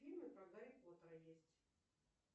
фильмы про гарри поттера есть